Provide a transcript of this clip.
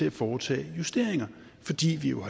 at foretage justeringer fordi vi jo